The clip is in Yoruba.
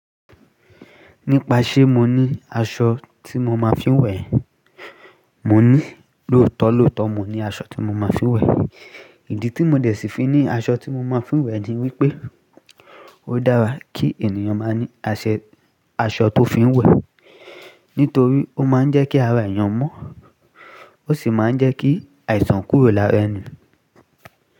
Nípa ṣé mo ní aṣọ tí mo máa fín wẹ̀? Mò ní, lóòótọ́ lóòótọ́ mo ní aṣọ tí mo máa fín wẹ̀. Ìdí tí mo dẹ̀ sí fi ní aṣọ tí mo máa fín wẹ̀ ni wípé ó dára kí ènìyàn máa ní aṣọ tó fín wẹ̀. Nítorí ó máa ń jẹ́ kí ara èèyàn mọ́, ó sì máa ń jẹ́ kí àìsàn kúrò lára ẹni.